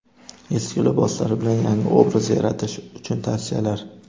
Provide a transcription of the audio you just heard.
Eski liboslar bilan yangi obraz yaratish uchun tavsiyalar.